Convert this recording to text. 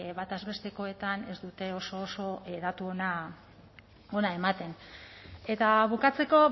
batez bestekoetan ez dute oso oso datu ona ematen eta bukatzeko